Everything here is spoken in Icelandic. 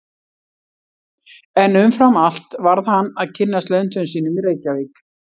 En umfram allt varð hann að kynnast löndum sínum í Reykjavík.